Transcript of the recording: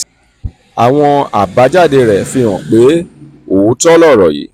àwọn àbájáde rẹ̀ fi hàn pé òótọ́ lọ̀rọ̀ yìí: